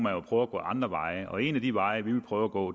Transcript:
at gå andre veje og en af de veje vi vil prøve at gå